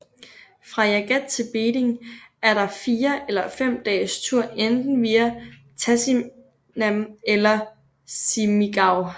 Fra Jagat til Beding er der en fire eller fem dages tur enten via Tasinam eller Simigau